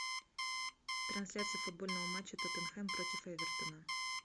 трансляция футбольного матча тоттенхэм против эвертона